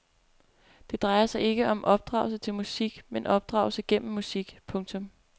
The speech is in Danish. Det drejer sig ikke om opdragelse til musik men opdragelse gennem musik. punktum